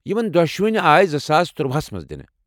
یمن دۄشوٕنۍ آیہِ زٕ ساس تُرٚواہس منٛز دِنہٕ۔